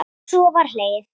Og svo var hlegið.